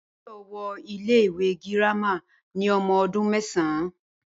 Báyò̩ wo̩ ilé ìwé girama ní o̩mo̩ o̩dún mé̩sàn-án